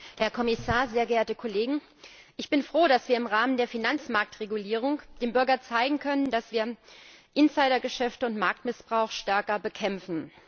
Herr Präsident, Herr Kommissar, sehr geehrte Kolleginnen und Kollegen! Ich bin froh, dass wir im Rahmen der Finanzmarktregulierung dem Bürger zeigen können, dass wir Insidergeschäfte und Marktmissbrauch stärker bekämpfen.